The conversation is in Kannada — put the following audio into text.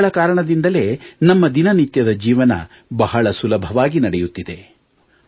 ಇವರುಗಳ ಕಾರಣದಿಂದಲೇ ನಮ್ಮ ದಿನನಿತ್ಯದ ಜೀವನ ಬಹಳ ಸುಲಭವಾಗಿ ನಡೆಯುತ್ತಿದೆ